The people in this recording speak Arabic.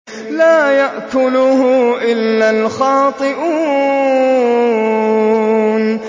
لَّا يَأْكُلُهُ إِلَّا الْخَاطِئُونَ